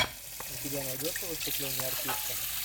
у тебя найдется выступление артиста